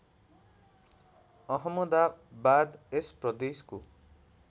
अहमदाबाद यस प्रदेशको